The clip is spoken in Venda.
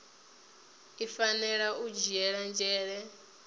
i fanela u dzhiela nzhele